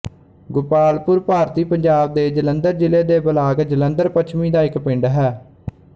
ਗੁਪਾਲਪੁਰ ਭਾਰਤੀ ਪੰਜਾਬ ਦੇ ਜਲੰਧਰ ਜ਼ਿਲ੍ਹੇ ਦੇ ਬਲਾਕ ਜਲੰਧਰ ਪੱਛਮੀ ਦਾ ਇੱਕ ਪਿੰਡ ਹੈ